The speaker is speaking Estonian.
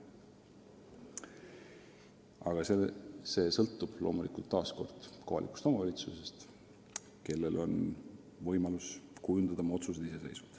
Aga see sõltub loomulikult taas kohalikust omavalitsusest, kes langetab oma otsuseid ise.